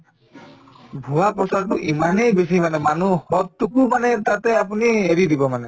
ভুৱা প্ৰচাৰটো ইমানেই বেছি মানে মানুহ মানে এটা তাতে আপুনি হেৰি দিব মানে